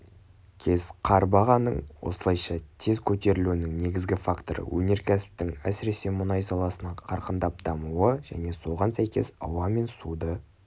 кес.қар бағаның осылайша тез көтерілуінің негізгі факторы өнерксіптің сіресе мұнай саласының қарқындап дамуы және соған сәйкес ауа мен суды